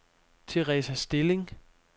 Teresa Stilling